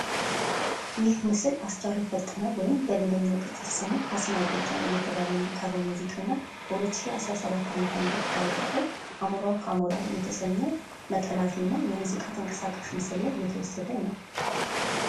ይህ ምስል አስቻለው ፈጠነ ወይም በሌላኛው ቅጽል ስሙ ካሲናው ጎጃም እየተባለ የሚጠራው ሙዚቃ በሁለት ሺህ አስራ ሰባት ዓመተ ምህረት ከለቀቀው አሞራው ካሞራው እየተሰኘ ነጠላ ዜማ ተንቀሳቃሽ ላይ የተወሰደ ምስል ነው።